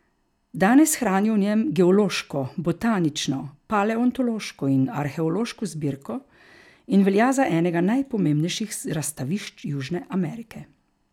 Danes hranijo v njem geološko, botanično, paleontološko in arheološko zbirko in velja za enega najpomembnejših razstavišč Južne Amerike.